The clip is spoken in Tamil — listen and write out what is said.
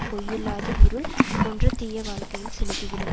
பொய்யில்லாத இருள் போன்ற தீய வாழ்க்கையில் செலுத்தி விடும்